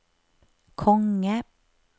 konge